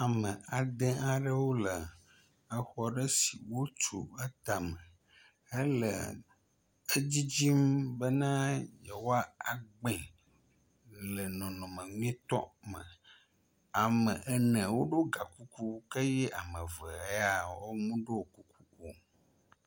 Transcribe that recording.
Ame ade aɖewo le exɔ ɖe si wotu atame hele edzidzi bena yewoagbee le nɔnɔme nyuietɔ me, ame ene woɖo ga kuku eye ame eve ya wome ɖo kuku o.